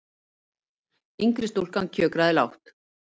Yngri stúlkan kjökraði lágt.